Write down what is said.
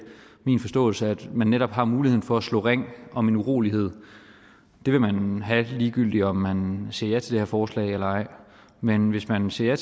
min forståelse at man netop har muligheden for at slå ring om en urolighed det vil man have ligegyldigt om man siger ja til det her forslag eller ej men hvis man siger